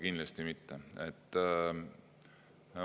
Kindlasti mitte!